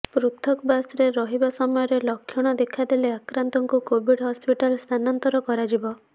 ପୃଥକବାସରେ ରହିବା ସମୟରେ ଲକ୍ଷଣ ଦେଖାଦେଲେ ଆକ୍ରାନ୍ତଙ୍କୁ କୋଭିଡ୍ ହସ୍ପିଟାଲ ସ୍ଥାନାନ୍ତର କରାଯିବ